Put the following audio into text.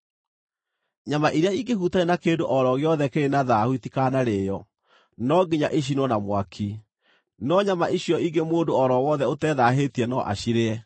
“ ‘Nyama iria ingĩhutania na kĩndũ o ro gĩothe kĩrĩ na thaahu itikanarĩĩo; no nginya icinwo na mwaki. No nyama icio ingĩ mũndũ o ro wothe ũtethaahĩtie no acirĩe.